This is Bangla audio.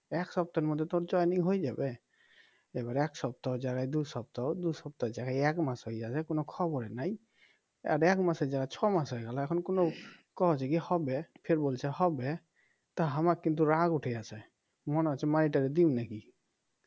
এবার এক সপ্তাহের জায়গায় দু সপ্তাহ দু সপ্তাহের জায়গায় এক মাস হইয়া যায় কোনো খবরই নাই আর এক মাসের জায়গায় ছ মাস হয়ে গেল এখন কোনো কয় যে কি হবে ফির বলছে হবে তা আমার কিন্তু রাগ উঠে গেছে মনে হচ্ছে মাইরে টাইরে দিব নাকি